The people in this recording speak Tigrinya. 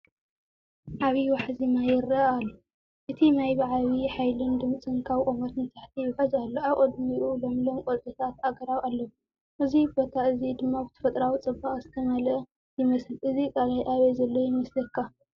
ዓብይ ዋሕዚ ማይ ይረአ ኣሎ። እቲ ማይ ብዓብይ ሓይልን ድምጽን ካብ ቁመት ንታሕቲ ይውሕዝ ኣሎ። ኣብ ቅድሚኡ ለምለም ቆፅልታት ኣግራብ ኣለው፣ እዚ ቦታ እዚ ድማ ብተፈጥሮኣዊ ጽባቐ ዝተመልአ ይመስል። እዚ ቀላይ ኣበይ ዘሎ ይመስለካ?